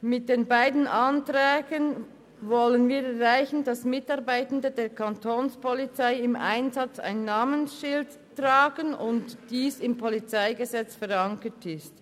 Mit den beiden Anträgen wollen wir erreichen, dass Mitarbeitende der Kapo im Einsatz ein Namensschild tragen und dass dies im Polizeigesetz verankert ist.